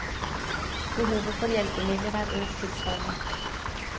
Behovet for hjelpemidler er økt tilsvarende.